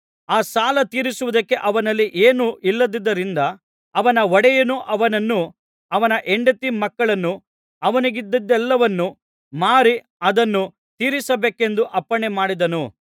ಆ ಸಾಲ ತೀರಿಸುವುದಕ್ಕೆ ಅವನಲ್ಲಿ ಏನೂ ಇಲ್ಲದುದರಿಂದ ಅವನ ಒಡೆಯನು ಅವನನ್ನೂ ಅವನ ಹೆಂಡತಿ ಮಕ್ಕಳನ್ನೂ ಅವನಿಗಿದ್ದದ್ದೆಲ್ಲವನ್ನೂ ಮಾರಿ ಅದನ್ನು ತೀರಿಸಬೇಕೆಂದು ಅಪ್ಪಣೆ ಮಾಡಿದನು